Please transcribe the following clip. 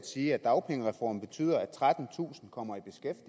sige at dagpengereformen betyder at trettentusind kommer